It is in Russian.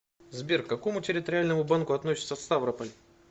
сбер к какому территориальному банку относится ставрополь